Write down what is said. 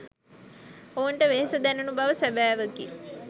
ඔවුන්ට වෙහෙස දැනුණු බව සැබෑවකි.